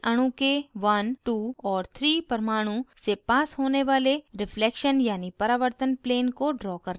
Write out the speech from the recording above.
methane अणु के 12 और 3 परमाणु से पास होने वाले reflection यानी परावर्तन plane को draw करने के लिए